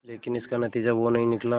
लेकिन इसका नतीजा वो नहीं निकला